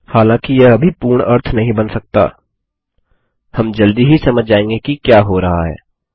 हालांकि यह अभी पूर्ण अर्थ नहीं बना सकता हम जल्दी ही समझ जायेंगे कि क्या हो रहा है